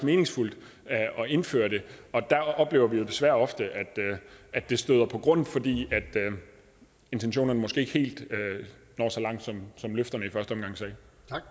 meningsfuldt at indføre det og der oplever vi jo desværre ofte at det støder på grund fordi intentionerne måske ikke helt når så langt som løfterne i første omgang sagde